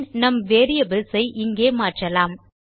பின் நம் வேரியபிள்ஸ் ஐ இங்கே மாற்றலாம்